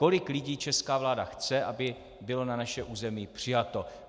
Kolik lidí česká vláda chce, aby bylo na naše území přijato.